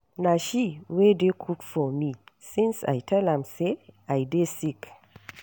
Na she wey dey cook for me since I tell am say I dey sick